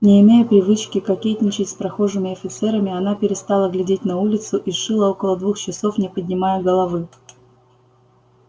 не имея привычки кокетничать с прохожими офицерами она перестала глядеть на улицу и шила около двух часов не поднимая головы